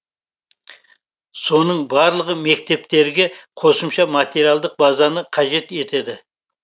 соның барлығы мектептерге қосымша материалдық базаны қажет етеді